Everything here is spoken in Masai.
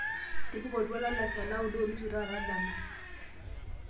tipika oltuala le saa naaudo onusu taata dama